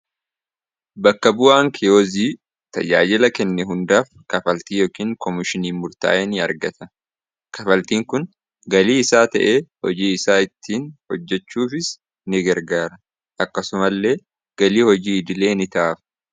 bakka bu'aan keyoozii tayyaajila kenne hundaaf kafaltii yookiin koomishinii murtaaye ni argata kafaltiin kun galii isaa ta'ee hojii isaa ittiin hojjechuufis ni gargaara akkasuma illee galii hojii idilee nitaaf